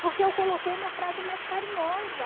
Porque eu coloquei uma frase mais carinhosa.